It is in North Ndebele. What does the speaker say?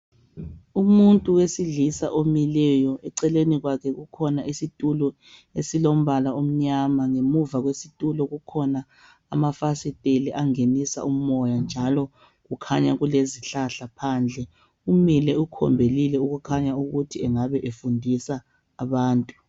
umuntu wesilisa omileyo eceleni kwakhe kukhona isitulo esilombala omnyama ngemuva kwesitulo kukhona amafasieli angenisa umoya njalo kukhanya kulezihlahla phandle umile ukhombelile okukhanya ukuba engabe efundisa abantu